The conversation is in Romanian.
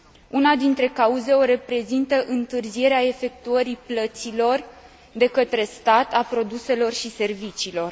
Una dintre cauze o reprezintă întârzierea efectuării plăților de către stat a produselor și serviciilor.